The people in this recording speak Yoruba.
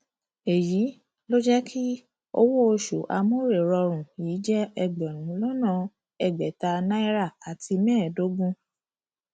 èyí ló jẹ kí owó oṣù amórèrọrùn yìí jẹ ẹgbẹrún lọnà ẹgbẹta náírà ẹgbẹta náírà àti mẹẹẹdógún